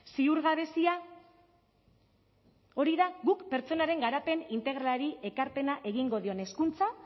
ziurgabezia hori da guk pertsonaren garapen integralari ekarpena egingo dion hezkuntza